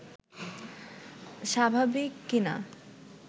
স্বাভাবিক কিনা